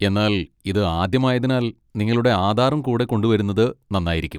എന്നാൽ ഇത് ആദ്യമായതിനാൽ നിങ്ങളുടെ ആധാറും കൂടെ കൊണ്ടുവരുന്നത് നന്നായിരിക്കും.